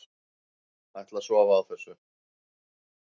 Ætla að sofa á þessu